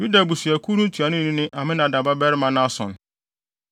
Yuda abusuakuw no ntuanoni ne Aminadab babarima Nahson;